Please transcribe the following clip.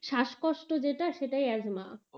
শ্বাস কষ্ট যেটা সেটাই অ্যাজমা,